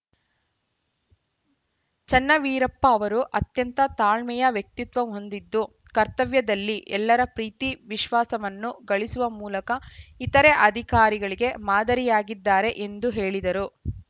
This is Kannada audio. ಚನ್ನವೀರಪ್ಪ ಅವರು ಅತ್ಯಂತ ತಾಳ್ಮೆಯ ವ್ಯಕ್ತಿತ್ವವ ಹೊಂದಿದ್ದು ಕರ್ತವ್ಯದಲ್ಲಿ ಎಲ್ಲರ ಪ್ರೀತಿ ವಿಶ್ವಾಸವನ್ನು ಗಳಿಸುವ ಮೂಲಕ ಇತರೆ ಅಧಿಕಾರಿಗಳಿಗೆ ಮಾದರಿಯಾಗಿದ್ದಾರೆ ಎಂದು ಹೇಳಿದರು